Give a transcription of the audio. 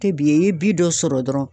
Tɛ bi i ye bi dɔ sɔrɔ dɔrɔn